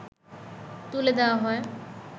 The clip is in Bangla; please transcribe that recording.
তুলে দেয়া হয়